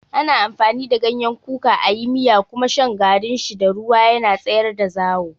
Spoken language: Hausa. Ana amfani da ganyen kuka a yi miya kuma shan garin shi da ruwa yana tsayar da zawo.